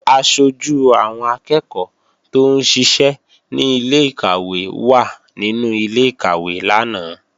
Aṣojú àwọn akẹ́ẹ̀kọ́ tóún ṣiṣẹ́ ní ilé-ìkàwé wà nínú ilé-ìkàwé lánàá